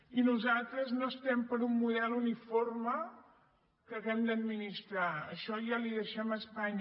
i nosaltres no estem per un model uniforme que hàgim d’administrar això ja li ho deixem a espanya